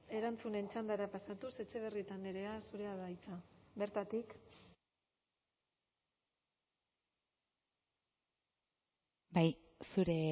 erantzunen txandara pasatuz etxebarrieta andrea zurea da hitza bertatik bai zure